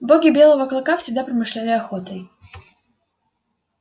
боги белого клыка всегда промышляли охотой